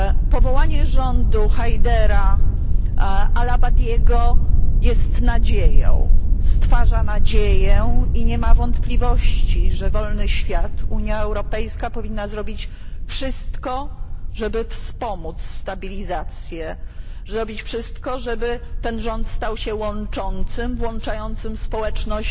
Powołanie rządu Hajdara al Abadiego jest nadzieją, stwarza nadzieję i nie ma wątpliwości, że wolny świat, Unia Europejska powinna zrobić wszystko, żeby wspomóc stabilizację, zrobić wszystko, żeby ten rząd stał się łączącym, włączającym społeczność